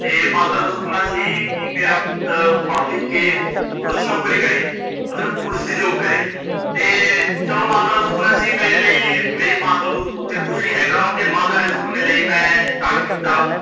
ਤੇ ਮਾਤਾ ਦਾ ਸੁਪਨਾ ਸੀ, ਕਿ ਮੇਰਾ ਪੁੱਤ ਪੜ ਲਿਖ ਕੇ police ਨੋਕਰੀ ਕਰੇ ਮਤਲਬ police ਦੀ job ਕਰੇ ਤੇ ਚਲੋ ਮਾਤਾ ਦਾ ਸੁਪਨਾ ਸੀ ਮੇਰੇ ਲਈ ਮੇਰੇ ਮਾਤਾ ਤੋਂ ਉੱਤੇ ਕੁਝ ਨਹੀਂ ਹੈਗਾ, ਤੇ ਮਾਤਾ ਦੇ ਸੁਪਨੇ ਲਈ ਮੈ start ਕੀਤਾ